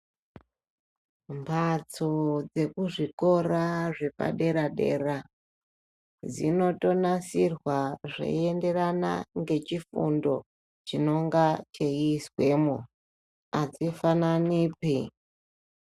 Mphatso dzekuzvikora zvepadera-dera, dzinotonasirwa zveienderana ngechifundo chinengana cheiizwemo. Azvifananipi.